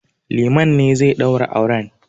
Liman ne zai ɗaura auren.